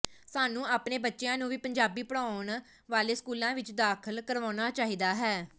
ਸਾਨੂੰ ਆਪਣੇ ਬੱਚਿਆਂ ਨੂੰ ਵੀ ਪੰਜਾਬੀ ਪੜ੍ਹਾਉਣ ਵਾਲੇ ਸਕੂਲਾਂ ਵਿਚ ਦਾਖਲ ਕਰਵਾਉਣਾ ਚਾਹੀਦਾ ਹੈ